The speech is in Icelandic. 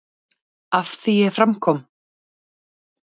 Að því er fram kom í